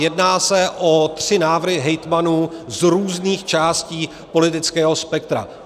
Jedná se o tři návrhy hejtmanů z různých částí politického spektra.